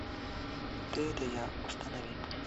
ты это я установи